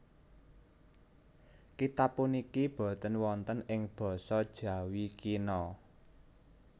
Kitab puniki boten wonten ing basa Jawi kina